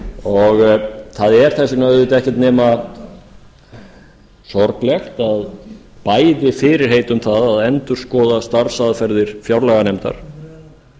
festu það er þess vegna auðvitað ekkert nema sorglegt að bæði fyrirheit um það að endurskoða starfsaðferðir fjárlaganefndar